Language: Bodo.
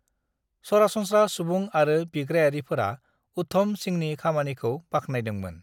सरासनस्रा सुबुं आरो बिग्रायारिफोरा उधम सिंहनि खामानिखौ बाख्नायदोंमोन।